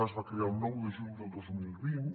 es va crear el nou de juny del dos mil vint